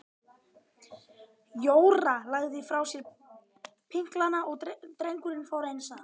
Jóra lagði frá sér pinklana og drengurinn fór eins að.